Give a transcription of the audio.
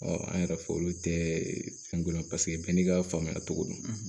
Ɔ an yɛrɛ fɛ olu tɛ fɛn dɔn paseke bɛɛ n'i ka faamuya cogo don